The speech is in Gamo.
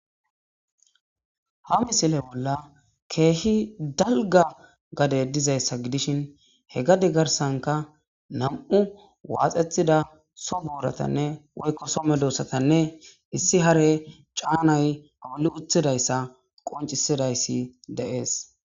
Haa missile bolla kehi daligga gadeyi dizayissa gidishshinni hee gade garissannikka nam''u waxxetida Soo boratanne woyikko Soo medosatanne issi haare canayi alii uttidayissa wonccidayissi de'es.